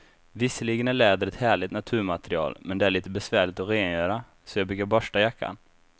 Visserligen är läder ett härligt naturmaterial, men det är lite besvärligt att rengöra, så jag brukar borsta jackan.